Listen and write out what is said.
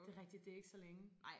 Det rigtigt det ikke så længe